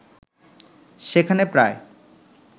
সেখানে প্রায়